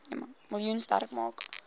miljoen sterk maak